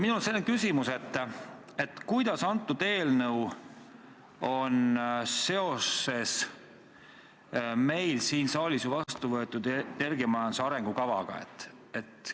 Minul on selline küsimus: kuidas antud eelnõu on seoses meil siin saalis vastu võetud energiamajanduse arengukavaga?